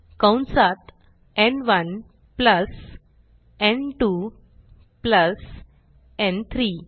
कंसात न्1 प्लस न्2 प्लस न्3